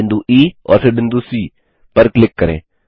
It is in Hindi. बिंदु ई और फिर बिंदु सी पर क्लिक करें